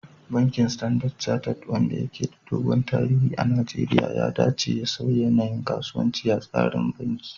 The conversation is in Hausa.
Bankin Standard Chartered, wanda ke da dogon tarihi a Najeriya, ya dace da sauya yanayin kasuwanci a tsarin banki